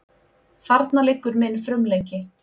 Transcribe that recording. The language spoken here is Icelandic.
Þarna liggur minn frumleiki.